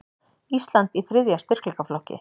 Ísland í þriðja styrkleikaflokki